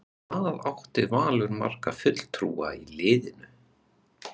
Hvað átti Valur marga fulltrúa í liðinu?